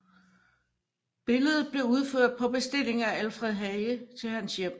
Billedet blev udført på bestilling af Alfred Hage til hans hjem